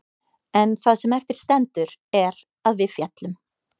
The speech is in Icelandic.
En það sem eftir stendur er að við féllum.